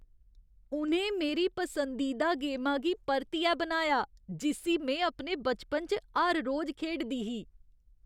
उ'नें मेरी पसंदीदा गेमा गी परतियै बनाया जिस्सी में अपने बचपन च हर रोज खेढदी ही!